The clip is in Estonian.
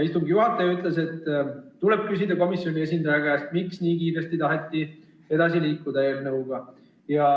Istungi juhataja ütles, et tuleb küsida komisjoni esindaja käest, miks taheti nii kiiresti eelnõuga edasi liikuda.